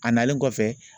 A nalen kɔfɛ